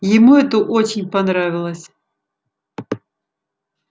ему это очень понравилось